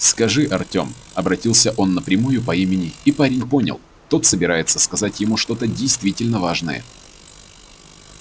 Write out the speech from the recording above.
скажи артём обратился он напрямую по имени и парень понял тот собирается сказать ему что-то действительно важное